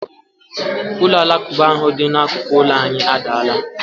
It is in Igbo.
Ụlọ alakụba ahụ dị n'akụkụ ụlọ anyị adaala.